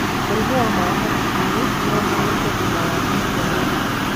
Mũrimũ wa maĩ hakiri-inĩ no ũhanĩke thutha wa gũciarwo.